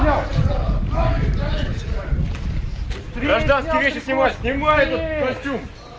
костюм